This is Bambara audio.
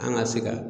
An ka se ka